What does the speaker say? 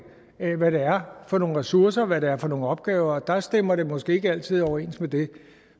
af hvad det er for nogen ressourcer hvad det er for nogen opgaver og der stemmer det måske ikke altid overens med det